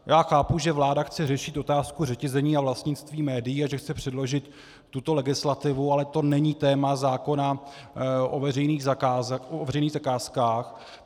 Já chápu, že vláda chce řešit otázku řetězení a vlastnictví médií a že chce předložit tuto legislativu, ale to není téma zákona o veřejných zakázkách.